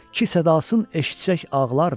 Ki sədasın eşitsək ağlardı.